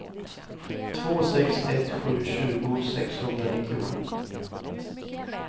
två sex ett sju tjugo sexhundranittiosju